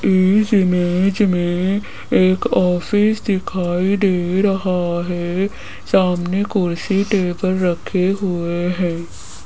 इस इमेज में एक ऑफिस दिखाई दे रहा है सामने कुर्सी टेबल रखे हुए है।